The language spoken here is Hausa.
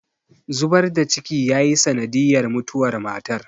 zubar da ciki yayi sanadiyar mutuwar matar